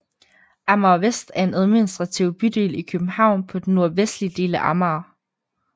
Amager Vest er en administrativ bydel i København på den nordvestlige del af Amager